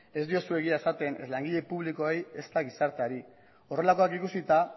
ez diozue egia esaten ez langile publikoei ezta gizarteari horrelakoak ikusita